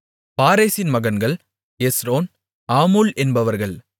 பாரேசின் மகன்கள் Hezron Hamul என்பவர்கள்